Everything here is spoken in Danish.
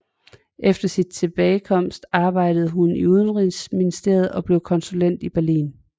Efter sin tilbagekomst arbejdede hun i udenrigsministeriet og blev konsul i Berlin